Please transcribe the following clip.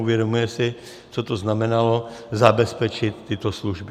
Uvědomujeme si, co to znamenalo zabezpečit tyto služby.